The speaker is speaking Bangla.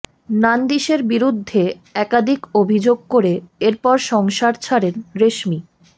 নান্দিশের বিরুদ্ধে একাধিক অভিযোগ করে এরপর সংসার ছাড়েন রেশমি